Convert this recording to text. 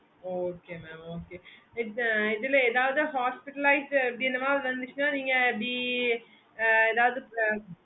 okay mam